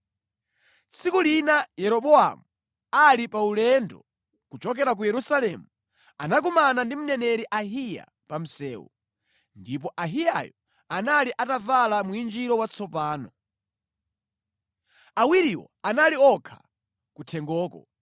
Tsiku lina Yeroboamu ali pa ulendo kuchokera ku Yerusalemu, anakumana ndi mneneri Ahiya pa msewu, ndipo Ahiyayo anali atavala mwinjiro watsopano. Awiriwo anali okha kuthengoko,